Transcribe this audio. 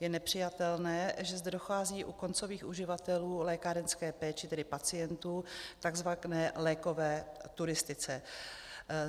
Je nepřijatelné, že zde dochází u koncových uživatelů lékárenské péče, tedy pacientů, k takzvané lékové turistice.